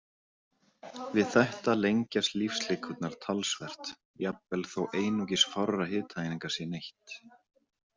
Við þetta lengjast lífslíkurnar talsvert, jafnvel þó einungis fárra hitaeininga sé neytt.